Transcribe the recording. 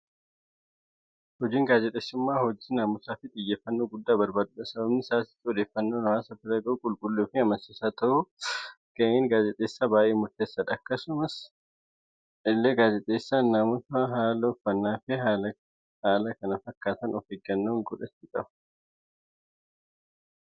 Hojiin gaazexeessummaa, hojii naaamusa fi xiyyeeffannoo guddaa barbaadudha. Sababni isaas odeeffannoon hawaasa bira gahu qulqulluu fi amansiisaa ta'uuf gaheen gaazexeessaa baayyee murteessaadha. Akkasuma illee gaazexeessaan naamusa, haala uffannaa fi kan kana fakkaatan of eeggannoo gochuu qaba.